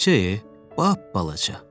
Balaca e, bap balaca.